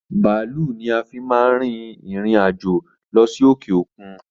Bàálú ni a fi máa ń rìn ìrìn-àjò lọ sí òkè okun